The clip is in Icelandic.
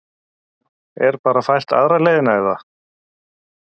Er bara fært aðra leiðina eða?